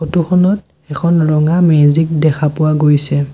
Photo খনত এখন ৰঙা মেজিক দেখা পোৱা গৈছে।